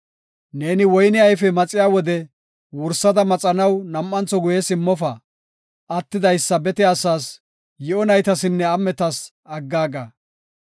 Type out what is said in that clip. Neeni woyne ayfe maxiya wode wursada maxanaw nam7antho guye simmofa. Attidaysa bete asas, yi7o naytasinne am7etas aggaaga.